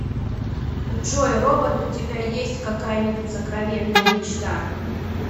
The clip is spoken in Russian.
джой робот у тебя есть какая нибудь сокровенная мечта